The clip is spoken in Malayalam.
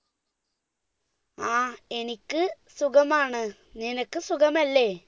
ആ എനിക്ക് സുഖമാണ് നിനക്ക് സുഖമല്ലേ